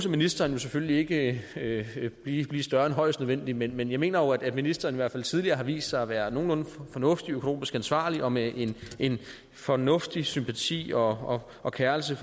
ministeren jo selvfølgelig ikke blive større end højst nødvendigt men men jeg mener jo at ministeren i hvert fald tidligere har vist sig at være nogenlunde fornuftig og økonomisk ansvarlig og med en fornuftig sympati og og keren sig